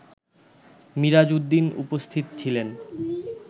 মিরাজ উদ্দিন উপস্থিত ছিলেন